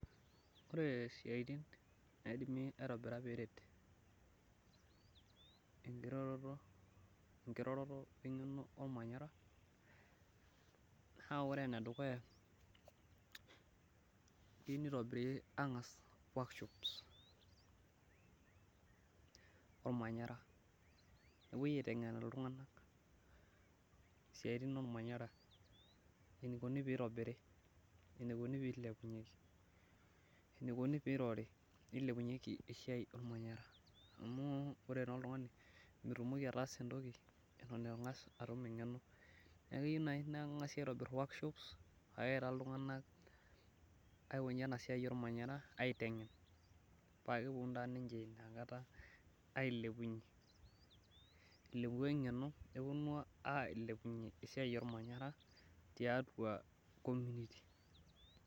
Ore siatin naidimi aitobira peeret enkiroroto, eng'eno olmanyara, naa ore ene dukuya keyieu nitobiri aangas workshops olmanyara, nepuoi aitengen iltunganak isiatin olmanyara, enikoni pee itobiri. enikoni pee ilepunyeki, enikoni pee irori, pee ilepunyeki esiai olmanyara. amu ore taa oltungani kitumoki, ataasa entoki eitu ing'as ataasa eng'eno . neeku keyieu naaji naa keng'asi aitobir workshops peeya iltung'anak.